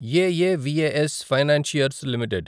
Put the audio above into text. ఎఎవిఎఎస్ financiers limited